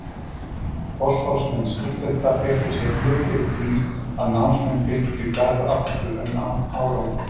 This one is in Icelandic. Forsvarsmenn stúdenta beittu sér mjög fyrir því, að námsmenn fengju Garð aftur, en án árangurs.